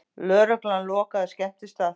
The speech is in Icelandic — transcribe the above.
Lögregla lokaði skemmtistað